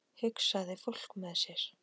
hugsaði fólk með sér.